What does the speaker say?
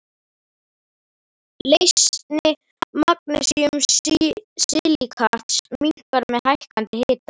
Leysni magnesíum-silíkats minnkar með hækkandi hita.